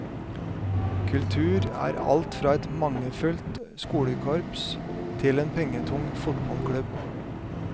Kultur er alt fra et mangelfullt skolekorps til en pengetung fotballklubb.